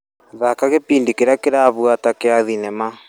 Thaka gĩbindi kĩrĩa kĩrabuata gĩa thinema .